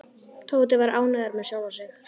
Tóti var ánægður með sjálfan sig.